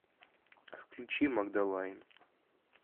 включи магдалайн